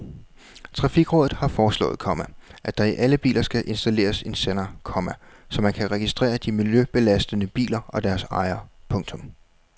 Trafikrådet har foreslået, komma at der i alle biler skal installeres en sender, komma så man kan registrere de miljøbelastende biler og deres ejere. punktum